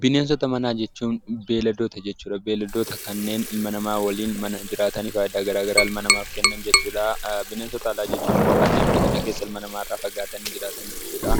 Bineensota manaa jechuun beelladoota jechuudha. Beelladoota kan ilma namaa waliin mana keessa jiraatani faayidaa adda addaa dhala namaatiif kennan jechuudha. Bineensota bosonaa jechuun immoo kanneen bosona keessa ilma namaa irraa fagaatanii argaman jechuudha.